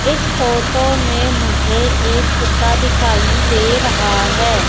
इस फोटो में मुझे एक कुत्ता दिखाई दे रहा है।